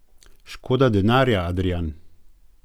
Škoda denarja, Adrijan.